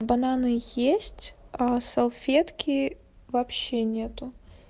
бананы есть салфетки вообще нету